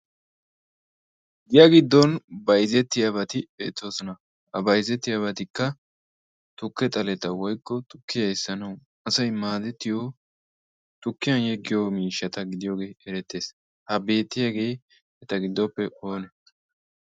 giya giddon bayzetti yaabati eetoosona a baizetti yaabatikka tukke xaleta woykko tukki hayssanawu asay maadettiyo tukkiyan yeggiyo miishshata gidiyoogee erettees ha beettiyaagee eta giddoppe oona?